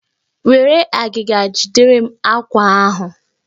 Were agịga jidere m àkwá ahụ!